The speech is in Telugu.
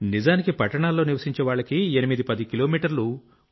నిజానికి పట్టణాల్లో నివశించేవాళ్లకి 810 కిలోమీటర్లు